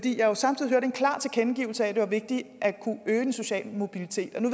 jo samtidig en klar tilkendegivelse af at det var vigtigt at kunne øge den sociale mobilitet nu